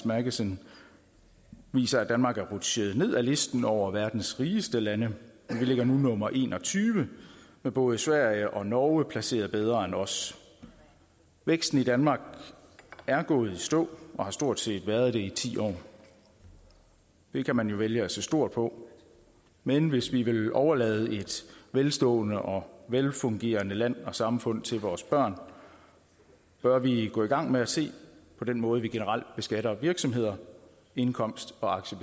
magazine viser at danmark er rutsjet ned ad listen over verdens rigeste lande vi ligger nu nummer en og tyve med både sverige og norge placeret bedre end os væksten i danmark er gået i stå og har stort set været det i ti år det kan man jo vælge at se stort på men hvis vi vil overlade et velstående og velfungerende land og samfund til vores børn bør vi gå i gang med at se på den måde vi generelt beskatter virksomheder indkomst og aktier